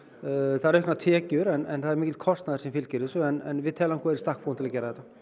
það eru auknar tekjur en það er mikill kostnaður sem fylgir þessu en við teljum okkur í stakk búin til að gera þetta